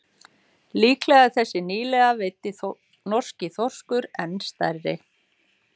Líklega er þessi nýlega veiddi norski þorskur enn stærri.